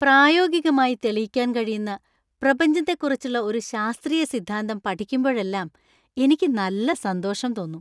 പ്രായോഗികമായി തെളിയിക്കാൻ കഴിയുന്ന പ്രപഞ്ചത്തെക്കുറിച്ചുള്ള ഒരു ശാസ്ത്രീയ സിദ്ധാന്തം പഠിക്കുമ്പോഴെല്ലാം എനിക്ക് നല്ല സന്തോഷം തോന്നും.